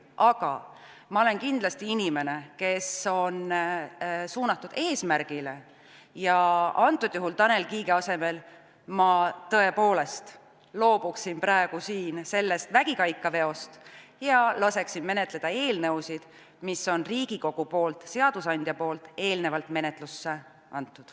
Aga ma olen kindlasti inimene, kes on suunatud eesmärgile, ja antud juhul Tanel Kiige asemel ma tõepoolest loobuksin praegu sellest vägikaikaveost ja laseksin menetleda eelnõusid, mis on Riigikogul, seadusandjal eelnevalt menetlusse antud.